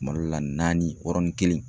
Malo la naani yɔrɔnin kelen.